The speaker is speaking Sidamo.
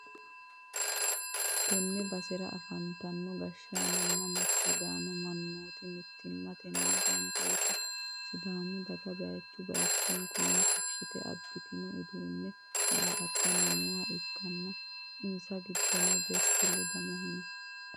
tenne basera afantino gashshaanonni massagantanno mannooti mittimmatenni gamba yite sidaamu daga bayichu bayichunkunni fushshite abbitino uduunne daa'attanni nooha ikkanna, insa giddono desittta ledamohu no.